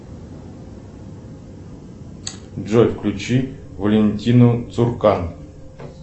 джой включи валентину цуркан